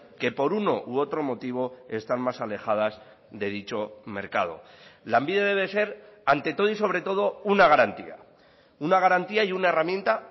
que por uno u otro motivo están más alejadas de dicho mercado lanbide debe ser ante todo y sobre todo una garantía una garantía y una herramienta